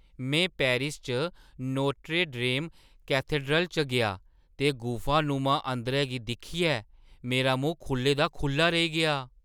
में पेरिस च Notre Dame cathedral च गेआ, ते गुफानुमा अंदरै गी दिक्खियै मेरा मूंह् खु'ल्ले दा खु'ल्ला रेही गेआ।